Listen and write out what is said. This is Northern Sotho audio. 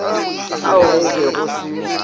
ao go be go se